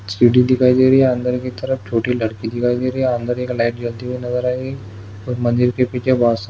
सीढ़ी दिखाई दे रही है अंदर की तरफ छोटी लड़की दिखाई दे रही है अंदर की तरफ एक लाइट जलती हुई नजर आ रही है और मंदिर के पीछे बहुत सारी--